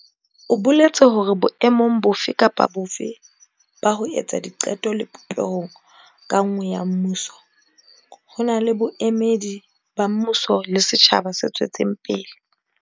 O boletse hore boemong bofe kapa bofe ba ho etsa diqeto le popehong ka nngwe ya mmuso, ho na le boemedi ba mmuso le setjhaba se tswetseng pele.